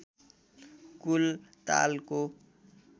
कुल तालको